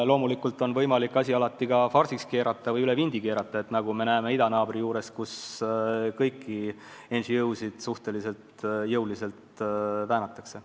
Loomulikult on alati võimalik asi ka farsiks pöörata või üle vindi keerata, nagu me näeme idanaabri juures, kus kõiki NGO-sid suhteliselt jõuliselt väänatakse.